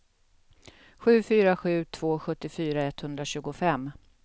sju fyra sju två sjuttiofyra etthundratjugofem